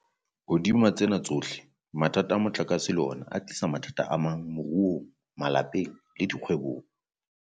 Hodima tsena tsohle, mathata a motlakase le ona a tlisitse mathata amang moruong, malapeng le dikgwebong.